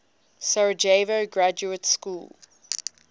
sarajevo graduate school